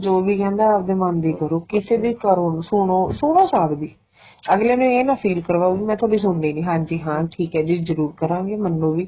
ਜੋ ਵੀ ਕਹਿੰਦਾ ਆਪਣੇ ਮੰਨ ਦੀ ਕਰੋ ਕਿਸੇ ਦੀ ਕਰੋ ਸੁਣੋ ਸਭ ਦੀ ਅਗਲੇ ਨੂੰ ਇਹ ਨਾ feel ਕਰਵਾਉ ਵੀ ਮੈਂ ਤੁਹਾਡੀ ਸੁਣਦੀ ਨੀਂ ਹਾਂਜੀ ਹਾਂ ਠੀਕ ਏ ਜੀ ਜਰੂਰ ਕਰਾਂਗੇ ਮੰਨੋ ਵੀ